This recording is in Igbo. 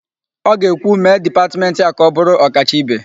Ọ ga-ekwu, "mee dipatmentị a ka ọ bụrụ ọkacha ibe"!